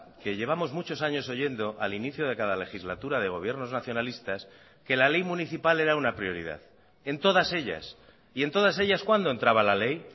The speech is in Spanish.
que llevamos muchos años oyendo al inicio de cada legislatura de gobiernos nacionalistas que la ley municipal era una prioridad en todas ellas y en todas ellas cuándo entraba la ley